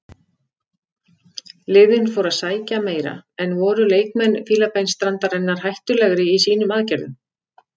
Liðin fóru að sækja meira en voru leikmenn Fílabeinsstrandarinnar hættulegri í sínum aðgerðum.